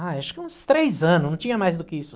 Ah acho que uns três anos, não tinha mais do que isso.